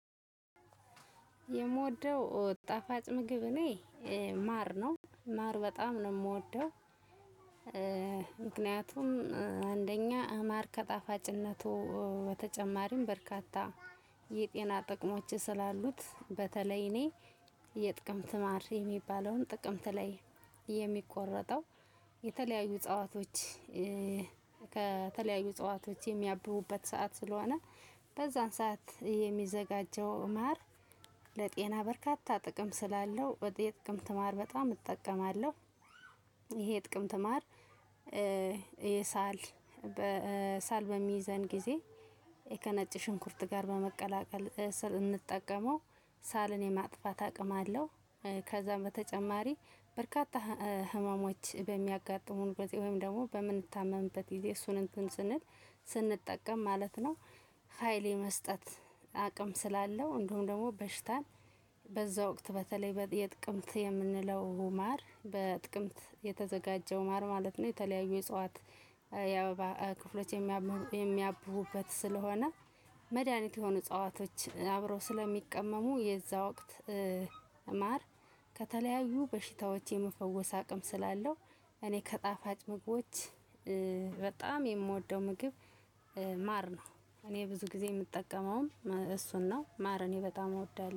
የምወደው ጣፋጭ ምግብ እኔ ማር ነው ማር በጣም ነው ምወደው። ምክንያቱም አንደኛ ማር ከጣፋጭነቱ በተጨማሪም በርካታ የጤና ጥቅሞች ስላሉት። በተለይ እኔ የጥቅምት ማር የሚባለውን ጥቅምት ላይ የሚቆረጠው የተለያዩ እጸዋቶች። ከተለያዩ እጸዋቶች የሚያብቡበት ሰዓት ስለሆነ በዛን ሰዓት የሚዘጋጀው ማር ለጤና በርካታ ጥቅም ስላለው የጥቅምት ማር በጣም እጠቀማለሁ። ይሄ የጥቅምት ማር። የሳል ሳል በሚይዘን ጊዜ ከነጭ ሽንኩርት ጋር በመቀላቀል ስንጠቀመው ሳልን የማጥፋት አቅም አለው። ከዛም በተጨማሪ በርካታ ህመሞች በሚያጋጥሙን ወይም ደግሞ በምን ታመምበት ጊዜ እሱን እንትን ስንል ስንጠቀም ማለት ነው። ሀይል የመስጠት አቅም ስላለው እንዲሁም ደግሞ በሽታን በዛ ወቅት በተለይ የጥቅምት የምንለው ማር በጥቅምት የተዘጋጀው ማር ማለት ነው። የተለያዩ የእጽዋት የአበባ ክፍሎች የሚያብ የሚያብቡበት ስለሆነ መድሃኒት የሆኑ እጸዋቶች አብረው ስለሚቀመሙ የዛው ወቅት ማር ከተለያዩ በሽታዎች የመፈወስ አቅም ስላለው። እኔ ከጣፋጭ ምግቦች በጣም የምወደው ምግብ ማር ነው። እኔ ብዙ ጊዜ የምጠቀመውም እሱን ነው ማር እኔ በጣም እወዳለሁ